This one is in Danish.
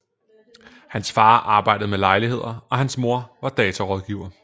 Hans far arbejdede med lejligheder og hans mor var datarådgiver